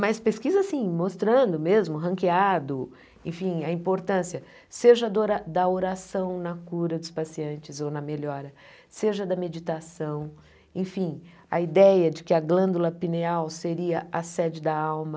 Mas pesquisa sim, mostrando mesmo, ranqueado, enfim, a importância, seja do ora da oração na cura dos pacientes ou na melhora, seja da meditação, enfim, a ideia de que a glândula pineal seria a sede da alma.